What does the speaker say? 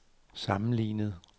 sammenlignet